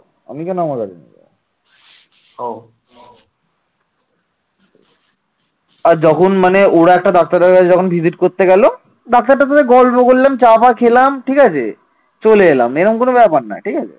ডাক্তারটার সাথে গল্প করলাম চা পা খেলাম ঠিক আছে? চলে এলাম এমন কোন ব্যাপার না ঠিক আছে